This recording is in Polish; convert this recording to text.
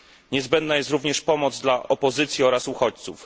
Niezbędna jest również pomoc dla opozycji oraz uchodźców.